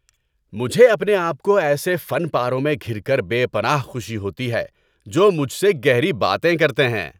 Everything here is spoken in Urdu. مجھے اپنے آپ کو ایسے فن پاروں میں گھِر کر بے پناہ خوشی ہوتی ہے جو مجھ سے گہری باتیں کرتے ہیں۔